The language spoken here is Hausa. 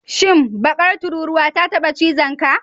Shin, bakar tururuwa ta taba cizonka?